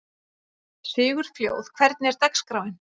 Sigurfljóð, hvernig er dagskráin?